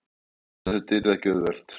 Ég vissi að þetta yrði ekki auðvelt.